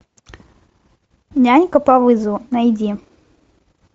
нянька по вызову найди